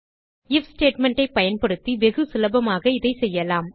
if statement ஐ பயன்படுத்தி வெகு சுலபமாக இதை செய்யலாம்